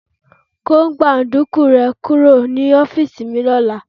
Kó gbáńdukú rẹ kúrò ní ọ́fíìsì mi lọ́la.